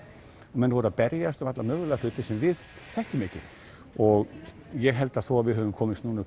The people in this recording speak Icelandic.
og menn voru að berjast um alla mögulega hluti sem við þekkjum ekki og ég held að þó við höfum komist núna